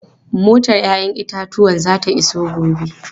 Motar 'ya'yan itatuwan din zata iso gobe.